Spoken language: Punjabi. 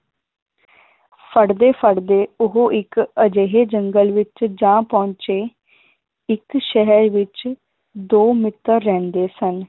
ਫੜਦੇ ਫੜਦੇ ਉਹ ਇੱਕ ਅਜਿਹੇ ਜੰਗਲ ਵਿਚ ਜਾ ਪਹੁੰਚੇ ਇਕ ਸ਼ਹਿਰ ਵਿਚ ਦੋ ਮਿੱਤਰ ਰਹਿੰਦੇ ਸਨ।